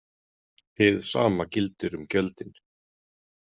Hið sama gildir um gjöldin.